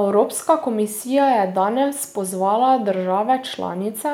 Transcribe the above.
Evropska komisija je danes pozvala države članice,